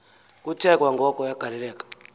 kuthe kwangoko yagaleleka